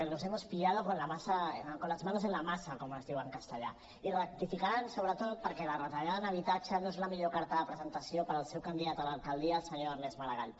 los hemos pillado con las manos en la masa com es diu en castellà i rectificaran sobretot perquè la retallada en habitatge no és la millor carta de presentació per al seu candidat a l’alcaldia el senyor ernest maragall